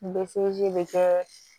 bɛ kɛ